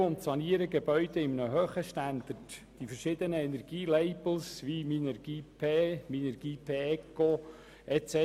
Wir erstellen und sanieren Gebäude auf einem hohen Standard mit verschiedenen Energielabels wie Minergie-P, Minergie Eco und so weiter.